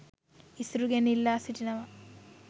ඉසුරුගෙන් ඉල්ලා සිටිනවා